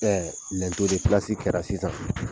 Ɛɛ lɛnto de pilasi kɛra sisan